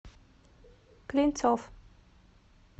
клинцов